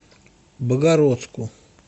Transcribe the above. богородску